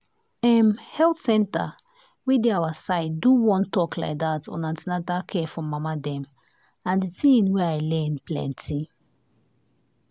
em health center wey dey our side do one talk like dat on an ten atal care for mama dem and thing wey i learn plenty.